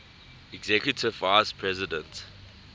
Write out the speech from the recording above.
executive vice president